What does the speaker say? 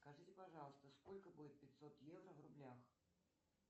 скажите пожалуйста сколько будет пятьсот евро в рублях